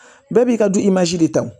Bɛɛ b'i ka du de ta